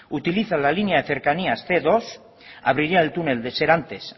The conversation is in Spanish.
utiliza la línea de cercanías cien dos abriría el túnel de serantes